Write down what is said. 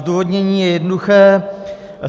Zdůvodnění je jednoduché.